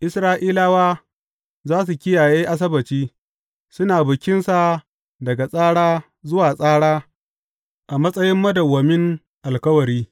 Isra’ilawa za su kiyaye Asabbaci, suna bikinsa daga tsara zuwa tsara a matsayin madawwamin alkawari.